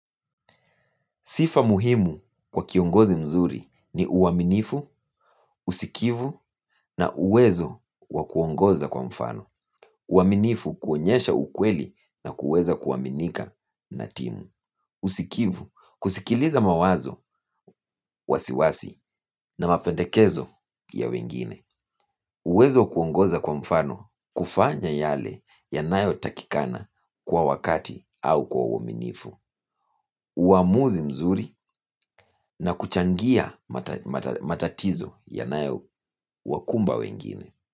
Sifa muhimu kwa kiongozi mzuri ni uaminifu, usikivu na uwezo wa kuongoza kwa mfano. Uaminifu, kuonyesha ukweli na kuweza kuaminika na timu. Usikivu, kusikiliza mawazo, wasiwasi na mapendekezo ya wengine. Uwezo wa kuongoza kwa mfano, kufanya yale yanayotakikana kwa wakati au kwa uaminifu. Uamuzi mzuri na kuchangia matatizo ya nayo wakumba wengine.